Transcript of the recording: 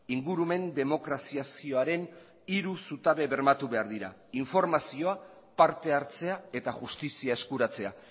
ingurumen demokraziazioaren hiru zutabe bermatu behar dira informazioa parte hartzea eta justizia eskuratzea